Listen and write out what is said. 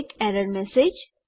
એક error message